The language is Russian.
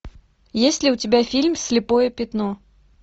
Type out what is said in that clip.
есть ли у тебя фильм слепое пятно